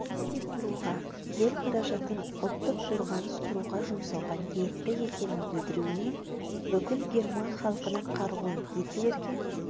құруға ел қаражатын ұлттық қорғаныс құруға жұмсауға ниетті екенін білдіруіне бүкіл герман халқының қаруын гитлерге